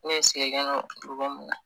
U dugu min na